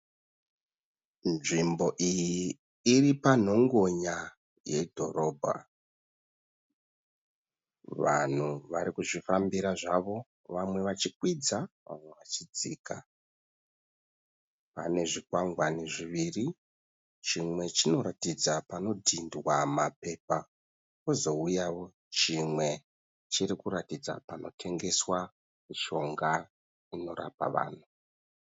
Nzvimbo iyi iri panhongonya yedhorobha. Vanhu vari kuzvifambira zvavo, vamwe vachikwidza vamwe vachidzika. Pane zvikwangwani zviviri, chimwe chinoratidza panodhindwa mapepa pozouyawo chimwe chiri kuratidza panotengeswa mushonga inorapa vanhu.